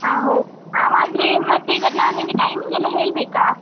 ಹಾ ಹೋ ಹಾಗಾದ್ರೆ ಮತ್ತೆ ಈಗ ನಾನಿಂಗೆ timing ಎಲ್ಲ ಹೇಳ್ಬೇಕಾ?